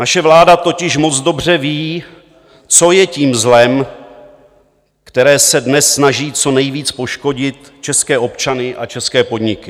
Naše vláda totiž moc dobře ví, co je tím zlem, které se dnes snaží co nejvíc poškodit české občany a české podniky.